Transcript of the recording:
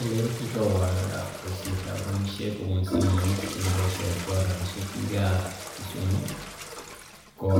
Ele kigowalda boisietab rabishek kobun simoit, ole boisioito rabishek biikab Kisumu ko